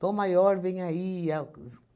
Tom Maior, venha aí. É o